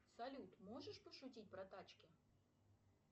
салют можешь пошутить про тачки